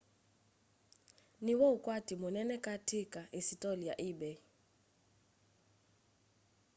nĩ wo ukwatĩ munene kati ka isitoli ya ebay